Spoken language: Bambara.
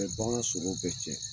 A bɛ bagan sogo bɛɛ cɛ